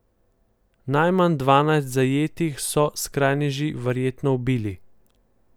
Najmanj dvanajst zajetih so skrajneži verjetno ubili.